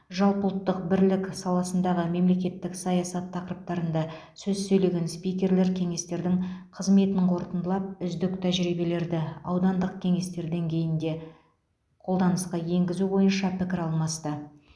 жалпыұлттық бірлік саласындағы мемлекеттік саясат тақырыптарында сөз сөйлеген спикерлер кеңестердің қызметін қорытындылап үздік тәжірибелерді аудандық кеңестер деңгейінде қолданысқа енгізу бойынша пікір алмасты